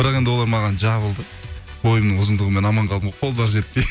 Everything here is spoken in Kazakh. бірақ енді олар маған жабылды бойымның ұзындығымен аман қалдым ғой қолдары жетпей